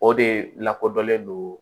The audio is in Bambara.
O de lakodɔnlen do